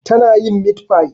Tana yin mitfai